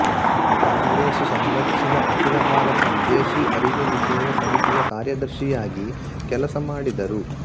ಕಾಂಗ್ರೆಸ್ಸು ಸಂಘಟಿಸಿದ ಅಖಿಲ ಭಾರತ ವಿದೇಶೀ ಅರಿವೆ ನಿಷೇಧ ಸಮಿತಿಯ ಕಾರ್ಯದರ್ಶಿಯಾಗಿ ಕೆಲಸ ಮಾಡಿದರು